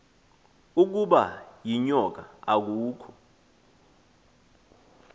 ukaba yinyoka akukho